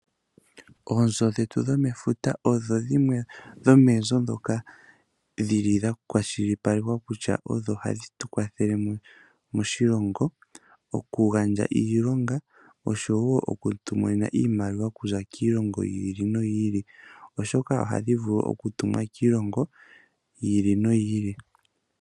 Oonzo dhetu dhomefuta odho dhimwe dhomoonzo ndhoka dhili dha kwashilipaleka kutya odho hadhi tukwathele moshilongo, oku gandja iilonga oshowo oku tu monena iimaliwa okuza kiilongo yi ili noyi ili oshoka ohadhi vulu oku tumwa kiilongo yi ili noyi ilile.